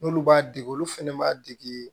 N'olu b'a dege olu fɛnɛ b'a dege